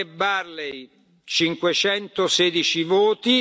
Barley 516 voti.